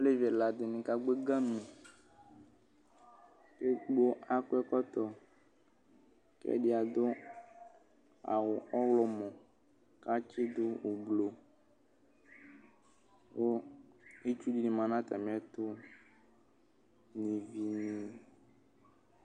Alevi ɛla dini kagbɔ ɛgamu ɔlu edigbo akɔ ɛkɔtɔ ku edigbo adu awu ɔɣlɔmɔ katsidu ublu, ku itsu dini manu atamietu nu iʋi ni